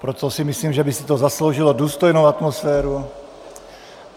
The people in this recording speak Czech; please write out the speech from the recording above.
Proto si myslím, že by si to zasloužilo důstojnou atmosféru.